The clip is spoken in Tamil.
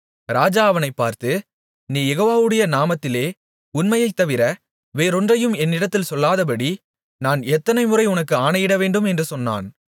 ராஜா அவனைப் பார்த்து நீ யெகோவாவுடைய நாமத்திலே உண்மையைத் தவிர வேறொன்றையும் என்னிடத்தில் சொல்லாதபடி நான் எத்தனைமுறை உனக்கு ஆணையிடவேண்டும் என்று சொன்னான்